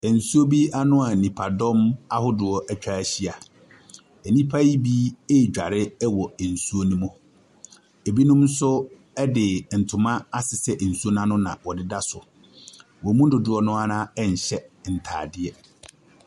Nsuo bi ano a nnipadɔm ahodoɔ atwa ahyia. Nnipa yi bi redware wɔ nsuo no mu. Binom nso de ntoma asesɛ nsuo no ano na wɔdeda so. Wɔn mu dodoɔ no ara nhyɛ ntadeɛ.